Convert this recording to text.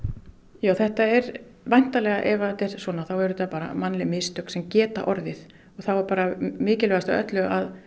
já þetta er væntanlega ef þetta er svona þá eru þetta mannleg mistök sem geta orðið og þá er mikilvægast af öllu að